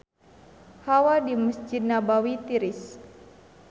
Hawa di Mesjid Nabawi tiris